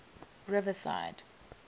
riverside